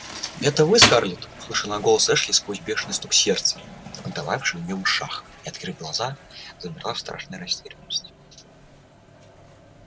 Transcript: это вы скарлетт услышала она голос эшли сквозь бешеный стук сердца отдававшийся у нее в ушах и открыв глаза замерла в страшной растерянности